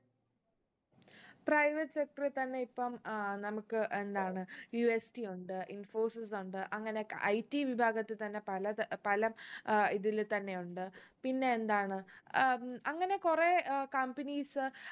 private sector ൽ തന്നെ ഇപ്പം ഏർ നമ്മക്ക് എന്താണ് UST ഉണ്ട് infosys ഉണ്ട് അങ്ങനൊക്കെ IT വിഭാഗത്തിൽ തന്നെ പലത് പലം ഏർ ഇതില് തന്നെ ഉണ്ട് പിന്നെ എന്താണ് ഏർ അങ്ങനെ കുറേ ഏർ companies